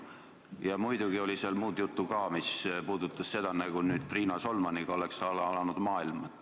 Ja muidugi oli seal muud juttu ka, mis puudutas seda, nagu oleks nüüd Riina Solmaniga alanud maailm.